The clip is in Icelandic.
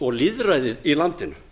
og lýðræðið í landinu